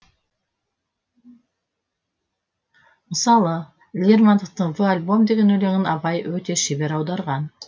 мысалы лермонтовтың в альбом деген өлеңін абай өте шебер аударған